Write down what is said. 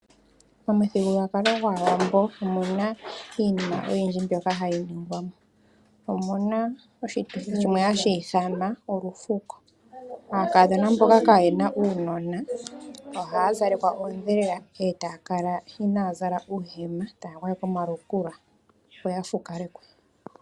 Momuthigilulwakalo gwaawambo omu na iinima oyindji mbyoka hayi ningwa mo. Omu na oshituthi shimwe hashi ithanwa olufuko. Aakadhona mboka kayena uunona ohaya zalekwa oondhelela eta ya kala inaya zala uuhema taya gwayekwa omalukula opo ya fukalekwe.